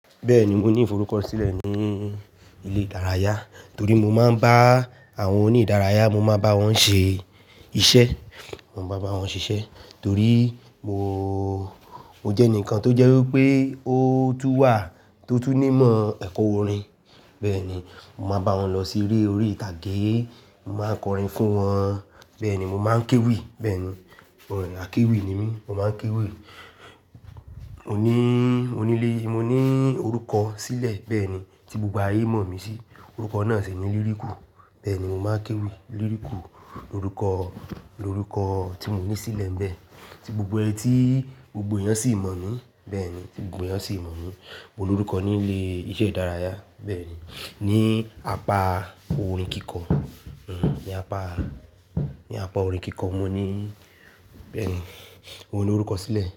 Bẹ́ẹ̀ni, mo ní forukọsilẹ ní ilé ìdárayá torí mo máa ń bá àwọn òní ìdárayá, mo máa bá wọn ṣe iṣẹ́, mo máa bá wọn ṣiṣẹ́ torí mo jẹ́ ẹnìkan tó jẹ́ wí pé ó tún wà tó tú nímọ̀ ẹ̀kọ́ orin. Bẹ́ẹ̀ni, mo máa bá wọn lọ sí eré orí-ìtàgé, mo máa kọrin fún wọn, bẹ́ẹ̀ni mo máa ń kéwì, bẹ́ẹ̀ni, orin ákèwì ni mí, mo máa ń kéwì. Mo ní, mo ní lé, mo ní orúkọ sílẹ̀ bẹ́ẹ̀ni tí gbogbo ayé mọ̀ mí sí, orúkọ náà sì ni líríkù. Bẹ́ẹ̀ni, mo máa ń kéwì líríkù ni orúkọ, ni orúkọ tí mo ní sílẹ̀ ń bẹ́ẹ̀, tí gbogbo ẹni tí gbogbo èyàn sì mọ̀ mí, bẹ́ẹ̀ni gbogbo èyàn sì mọ̀ mí. Mo ní orúkọ ní ilé iṣẹ́ ìdárayá bẹ́ẹ̀ni, ní apá orin kíkọ, ní apá, ní apá orin kíkọ mo ní, bẹ́ẹ̀ni mo ní orúkọ sílẹ̀